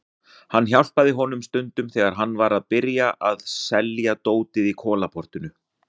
Ég hjálpaði honum stundum þegar hann var að byrja að selja dótið í Kolaportinu.